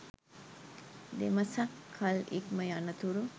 දෙමසක් කල් ඉක්ම යනතුරු